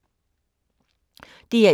DR1